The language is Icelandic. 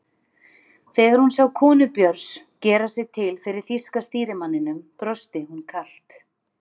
Þegar hún sá konu Björns gera sig til fyrir þýska stýrimanninum brosti hún kalt.